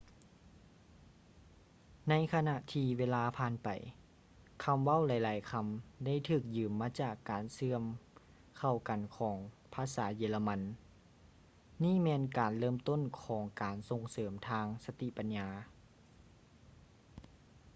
ໃນຂະນະທີ່ເວລາຜ່ານໄປ ຄຳເວົ້າຫຼາຍໆຄຳ ໄດ້ຖືກຢືມມາຈາກການເຊື່ອມເຂົ້າກັນຂອງພາສາເຢຍລະມັນ ນີ້ແມ່ນການເລີ່ມຕົ້ນຂອງການສົ່ງເສີມທາງສະຕິປັນຍາ